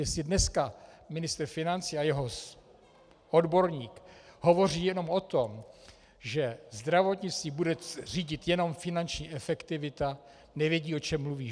Jestli dneska ministr financí a jeho odborník hovoří jenom o tom, že zdravotnictví bude řídit jenom finanční efektivita, nevědí, o čem mluví.